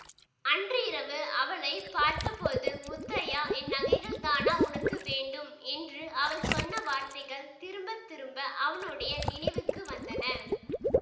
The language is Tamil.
அன்று இரவு அவளை பார்த்தபோது முத்தையா என் நகைகள் தானா உனக்கு வேண்டும் என்று அவள் சொன்ன வார்த்தைகள் திரும்ப திரும்ப அவனுடைய நினைவுக்கு வந்தன